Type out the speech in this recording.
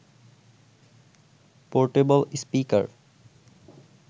portable speaker